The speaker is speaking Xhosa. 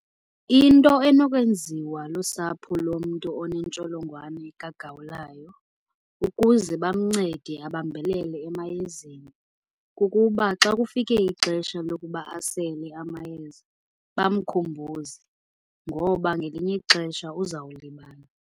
Into enokwenziwa lusapho lomntu onentsholongwane kagawulayo ukuze bamncede abambelele emayezeni, kukuba xa kufike ixesha lokuba asele amayeza bamkhumbuze ngoba ngelinye ixesha uzawulibala.